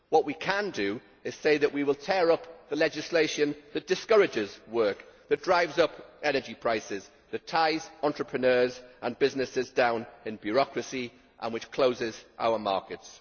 What we can do is say that we will tear up the legislation that discourages work, that drives up energy prices, that ties entrepreneurs and businesses down in bureaucracy and that closes our markets.